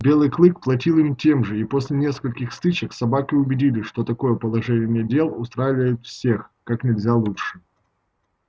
белый клык платил им тем же и после нескольких стычек собаки убедились что такое положение дел устраивает всех как нельзя лучше